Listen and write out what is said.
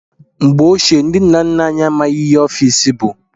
Mgbe ochie, ndị nna nna anyị amaghị ihe ọfiisi bụ.